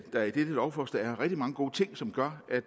der i dette lovforslag er rigtig mange gode ting som gør at